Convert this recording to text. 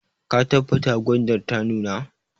Ka tabbata gwandar ta nuna!